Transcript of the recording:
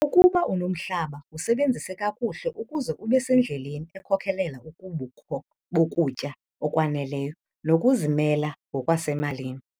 Ukuba unomhlaba, wusebenzise kakuhle ukuze ube sendleleni ekhokelela kubukho bokutya okwaneleyo nokuzimela ngokwasemalini.